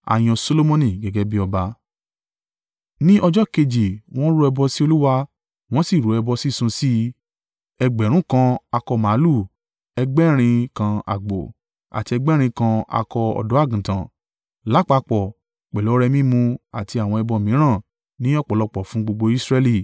Ni ọjọ́ kejì, wọ́n rú ẹbọ sí Olúwa, wọ́n sì rú ẹbọ sísun sí i: ẹgbẹ̀rún (1,000) kan akọ màlúù, ẹgbẹ̀rin (1,000) kan àgbò, àti ẹgbẹ̀rin kan akọ ọ̀dọ́-àgùntàn. Lápapọ̀ pẹ̀lú ọrẹ mímu àti àwọn ẹbọ mìíràn ní ọ̀pọ̀lọpọ̀ fún gbogbo Israẹli.